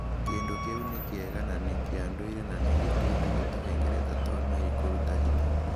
Kĩndũ kĩu nĩ kĩega na nĩ kĩa ndũire na gĩteithagia tũhengereta twa mwĩrĩ kũruta hinya.